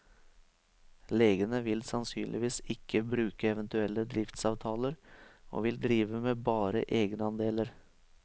Legene vil sannsynligvis ikke bruke eventuelle driftsavtaler, og vil drive med bare egenandeler.